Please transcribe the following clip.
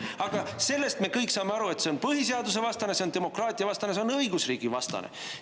Aga kõik me saame aru, et see on põhiseadusevastane, see on demokraatiavastane, see on õigusriigivastane.